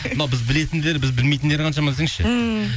мынау біз білетіндері біз білмейтіндері қаншама десеңізші ммм